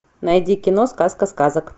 найди кино сказка сказок